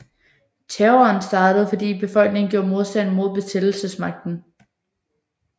Terroren startede fordi befolkningen gjorde modstand mod besættelsesmagten